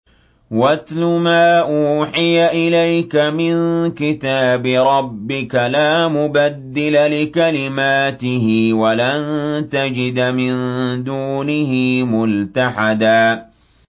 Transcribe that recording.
وَاتْلُ مَا أُوحِيَ إِلَيْكَ مِن كِتَابِ رَبِّكَ ۖ لَا مُبَدِّلَ لِكَلِمَاتِهِ وَلَن تَجِدَ مِن دُونِهِ مُلْتَحَدًا